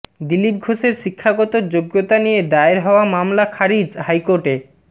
দিলীপ ঘোষের শিক্ষাগত যোগ্যতা নিয়ে দায়ের হওয়া মামলা খারিজ হাইকোর্টে